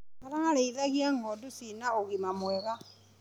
Ararĩithagia ngondu cina ũgima mwega.